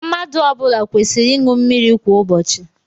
Mmadụ ọ bụla kwesịrị ịṅụ mmiri kwa ụbọchị.